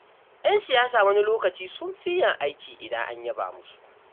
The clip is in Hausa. Ƴan siyasa wani lokaci sun fi yin aiki idan an yaba musu.